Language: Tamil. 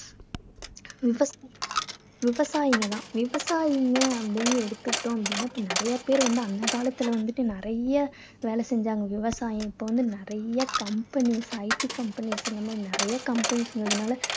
விவ~ விவசாயிங்க தான். விவசாயிங்க அப்படீன்னு எடுத்துக்கிட்டோம் அப்படீன்னா இப்போ நிறைய பேர் வந்து அந்த காலத்துல வந்துட்டு நிறைய வேலை செஞ்சாங்க. விவசாயம் இப்போ வந்து நிறைய companies IT companies நிறைய companies வந்ததுனால